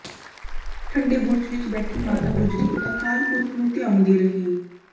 ਠੰਡੇ ਬੁਰਜ ਵਿਚ ਬੈਠੀ ਮਾਤਾ ਗੁਜਰੀ ਅਕਾਲ ਪੁਰਖ ਨੂੰ ਧਿਆਉਂਦੀ ਰਹੀ